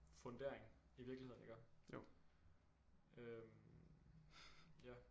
Fundering i virkeligheden iggå øh ja